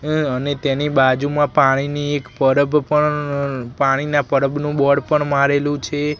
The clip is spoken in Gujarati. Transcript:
એ અને તેની બાજુમાં પાણીની એક પરબનુ પણ પાણીના પરબ બોર્ડ પણ મારેલું છે.